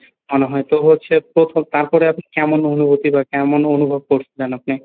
আনা হয় তো হচ্ছে প্রথম তারপরে আপনি কেমন অনুভূতি বা কেমন অনুভব করছিলেন আপনি?